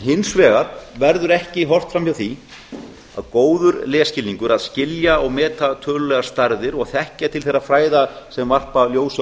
hins vegar verður ekki horft fram hjá því að góður lesskilningur að skilja og meta tölulegar stærðir og þekkja til þeirra fræða sem varpa ljósi á